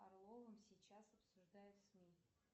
орловым сейчас обсуждают сми